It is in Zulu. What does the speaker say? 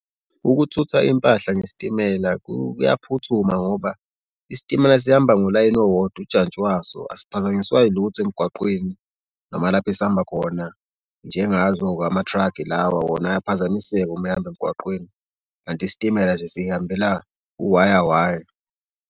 Ukuthutha impahla ngesitimela kuyaphuthuma ngoba isitimela sihamba ngolayini owodwa ujantshi waso asiphazanyiswa ilutho emgwaqweni noma lapho esihamba khona njengazo-ke ama-truck lawa wona ayaphazamiseka uma ehamba emgwaqweni. Kanti isitimela nje sihambela uwaya waya.